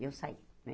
Eu saí né.